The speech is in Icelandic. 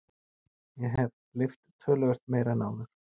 Ég hef lyft töluvert meira en áður.